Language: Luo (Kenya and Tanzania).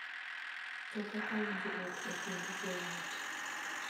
To kaka winjruok e kind joot.